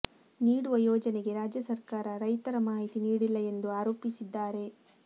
ನೀಡುವ ಯೋಜನೆಗೆ ರಾಜ್ಯ ಸರಕಾರ ರೈತರ ಮಾಹಿತಿ ನೀಡಿಲ್ಲ ಎಂದು ಆರೋಪಿಸಿದ್ದಾರೆ